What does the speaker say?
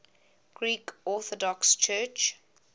greek orthodox church